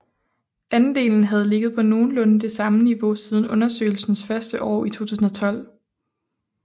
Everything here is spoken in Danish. Andelen havde ligget på nogenlunde det samme niveau siden undersøgelsens første år i 2012